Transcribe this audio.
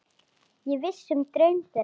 Ég vissi um draum þeirra.